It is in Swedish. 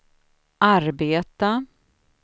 arbeta